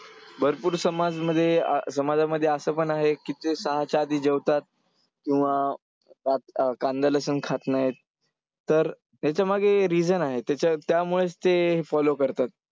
भरपूर समाजमध्ये समाजामध्ये असं पण आहे की ते सहाच्या आधी जेवतात. किंवा कांदा-लसूण खात नाहीत, तर हेच्यामागे reason आहे, त्याच्या त्यामुळेच ते follow करतात.